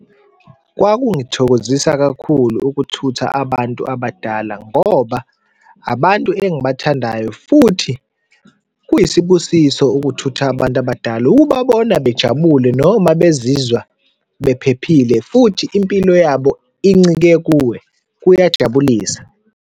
Kwakungithokozisa kakhulu ukuthutha abantu abadala ngoba abantu engibathandayo futhi kuyisibusiso ukuthutha abantu abadala, ukubabona bejabule noma bezizwa bephephile, futhi impilo yabo incike kuwe, kuyajabulisa.